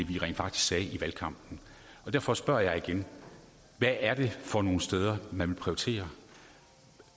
vi rent faktisk sagde i valgkampen derfor spørger jeg igen hvad er det for nogle steder man vil prioritere